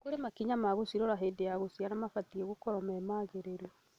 kũrĩa makinya ma gũcirora hĩnda ya gũciara mabatie gũkorwo me magĩrĩru.